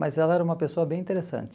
Mas ela era uma pessoa bem interessante.